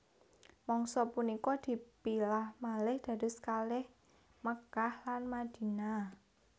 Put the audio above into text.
Mangsa punika dipilah malih dados kalih Mekkah lan Madinah